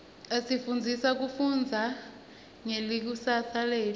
asifundzisa kufundza ngelikusasa letfu